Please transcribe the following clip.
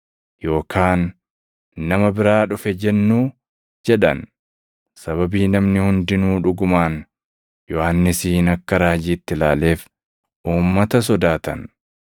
Yookaan, ‘Nama biraa dhufe’ jennuu?” jedhan. Sababii namni hundinuu dhugumaan Yohannisin akka raajiitti ilaaleef uummata sodaatan.